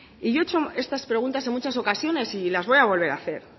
yo he hecho estas preguntas en muchas ocasiones y las voy a volver a hacer